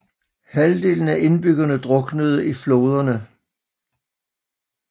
Halvdelen af indbyggerne druknede i floderne